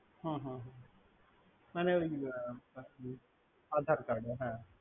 হু হু আরে ওই aadhar card ।